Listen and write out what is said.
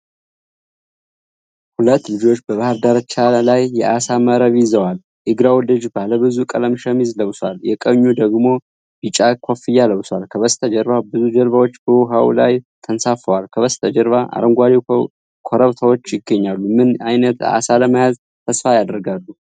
ሁለት ልጆች በባሕር ዳርቻ ላይ የዓሣ መረብ ይዘዋል። የግራው ልጅ ባለብዙ ቀለም ሸሚዝ ለብሷል፣ የቀኙ ደግሞ ቢጫ ኮፍያ ለብሷል። ከበስተጀርባ ብዙ ጀልባዎች በውሃው ላይ ተንሳፈዋል። ከበስተጀርባ አረንጓዴ ኮረብቶች ይገኛሉ። ምን ዓይነት ዓሣ ለመያዝ ተስፋ ያደርጋሉ?